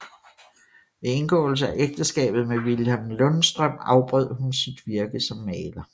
Ved indgåelse af ægteskabet med Vilhelm Lundstrøm afbrød hun sit virke som maler